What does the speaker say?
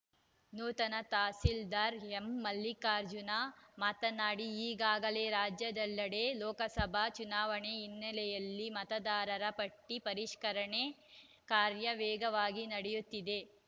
ನೂತನ ತಹಸೀಲ್ದಾರ್‌ ಎಂಮಲ್ಲಿಕಾರ್ಜುನ ಮಾತನಾಡಿ ಈಗಾಗಲೇ ರಾಜ್ಯದೆಲ್ಲೆಡೆ ಲೋಕಸಭಾ ಚುನಾವಣೆ ಹಿನ್ನೆಲೆಯಲ್ಲಿ ಮತದಾರರ ಪಟ್ಟಿಪರಿಷ್ಕರಣೆ ಕಾರ್ಯ ವೇಗವಾಗಿ ನಡೆಯುತ್ತಿದೆ